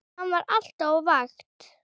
Hann var alltaf á vakt.